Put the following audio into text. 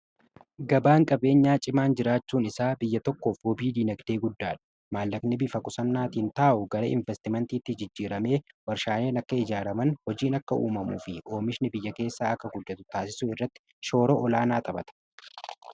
Gabaan qabeenyaa cimaan jiraachuun isaa biyya tokkoof wabii diinagdee guddaadha. Maallaqani bifa qusannaatiin taa'u gara investimentiitti jijjiiramee warshaaleen akka ijaaraman hojiin akka uumamuu fi oomishni biyya keessaa akka guddatu taasisu irratti shooraa olaanaa taphata.